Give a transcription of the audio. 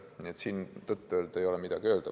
Nii et siin tõtt-öelda ei olegi midagi öelda.